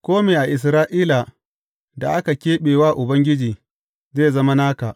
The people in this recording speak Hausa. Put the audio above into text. Kome a Isra’ila da aka keɓe wa Ubangiji, zai zama naka.